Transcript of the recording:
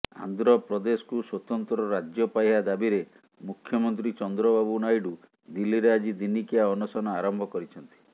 ଆନ୍ଧ୍ରପ୍ରଦେଶକୁ ସ୍ୱତନ୍ତ୍ର ରାଜ୍ୟପାହ୍ୟ ଦାବିରେ ମୁଖ୍ୟମନ୍ତ୍ରୀ ଚନ୍ଦ୍ରବାବୁ ନାଇଡୁ ଦିଲ୍ଲୀରେ ଆଜି ଦିନିକିଆ ଅନଶନ ଆରମ୍ଭ କରିଛନ୍ତି